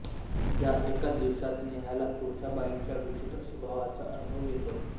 या एका दिवसात नेहाला तुळसाबाईच्या विचित्र स्वभावाचा अनुभव येतो